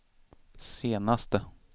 senaste